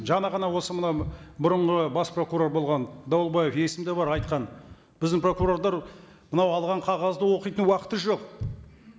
жаңа ғана осы мына бұрынғы бас прокурор болған дауылбаев есімде бар айтқан біздің прокурорлар мынау алған қағазды оқитын уақыты жоқ